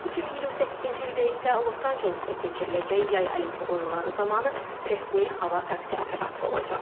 2028-ci ildə isə Los-Ancelesdə keçiriləcək Yay Olimpiya Oyunları zamanı rəsmi hava taksi operatoru olacaq.